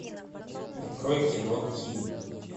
открой кино кин